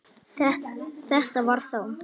Þetta var þá